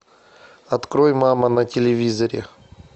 открой мама на телевизоре